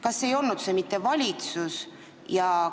Kas see ei olnud mitte valitsus?